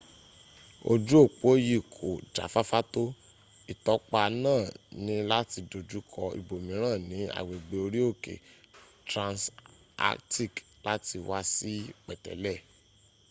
oju opo yi ko jafafa to itopa naa ni lati dojuko ibomiran ni agbegbe ori oke transantarctic lati wa si petele